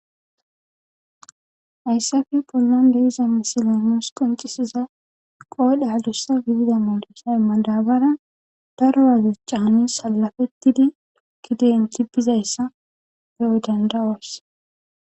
Hayisape bolan deiza missilen nusi qoncisiza qodhe adusa gidiza marica madabara daru'a cani salafetidi gede hamuti bezayisa beanawu danda'os.